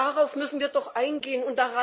Darauf müssen wir doch eingehen.